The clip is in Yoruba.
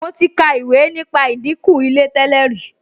Mo ti ka ìwé nípa ìdìnkù Ilé tẹ́lẹ̀ rí